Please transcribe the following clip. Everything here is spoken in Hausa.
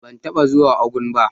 Ban taba zuwa Ogun ba.